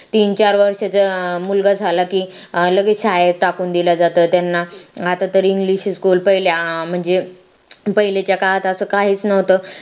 तीन चार वर्षाचं मुलगा झाला की लगेच शाळेत टाकून दिला जातो त्यांना आता त english school पहिल्या अं म्हणजे पहिल्याच्या काळात असं काहीच न्हवत